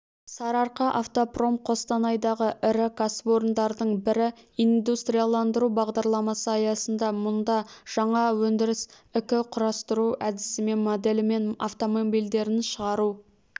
сарыарқа автопром қостанайдағы ірі кәсіпорындардың бірі индустрияландыру бағдарламасы аясында мұнда жаңа өндіріс ікі-құрастыру әдісімен моделімен автомобильдерін шығару